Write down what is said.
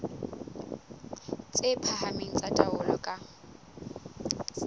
tse phahameng tsa taolo ka